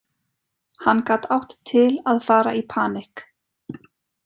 Hann gat átt til að fara í panikk.